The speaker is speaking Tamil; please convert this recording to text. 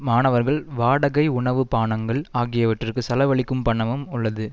மாணவர்கள் வாடகை உணவு பானங்கள் ஆகியவற்றிற்கு செலவழிக்கும் பணமும் உள்ளது